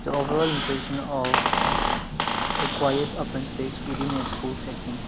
overall impression of a quiet open space within a school setting.